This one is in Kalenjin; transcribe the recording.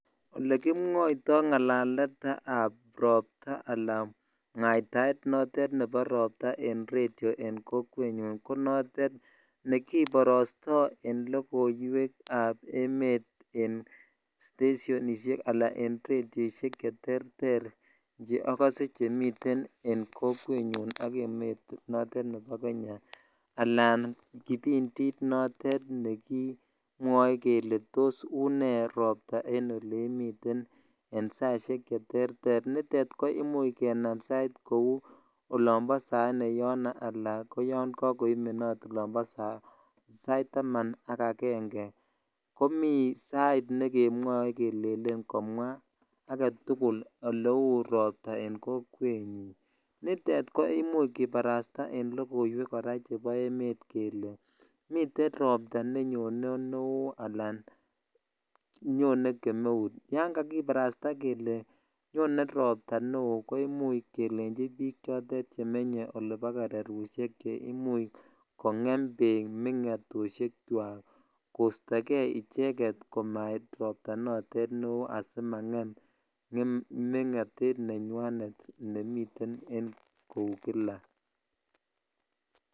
Olekimwoito ngalaletab robta alaa mwaitaet notet nebo robta en kokwenyun ko notet nekkiborosto en lokoiwekab emet en stesionishek alaan en redioishek cheterter cheokose chemiten en kokwenyun ak emet notet nebo Kenya alaan kipindit notet nekimwoe kelee tos unee robta en oleimiten en saishek cheterter, nitet ko imuch kenam sait kouu olombo saine yono alaan ko yoon kokoimenot olombo saitaman ak akenge, komii sait nekemwoe kelelen komwaa aketukul oleuu robta en kokwenyin, nitet ko imuch kibarasta en lokoiwek kora chebo emet kelee miten robta nenyone neoo alaan nyone kemeut, yoon kakibarasta kelee nyone robta neoo ko imuch kelenchi biik chotet chemenye olebo kererushek cheimuch kongem beek mengotoshekwak kostoke icheket komait robta notet neoo asimangem mengotet nenywanet nemiten en kou kila.